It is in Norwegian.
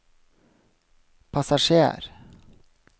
passasjer